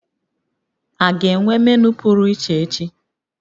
A ga-enwe menu pụrụ iche echi?